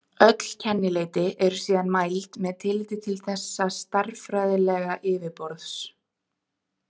Öll kennileiti eru síðan mæld með tilliti til þessa stærðfræðilega yfiborðs.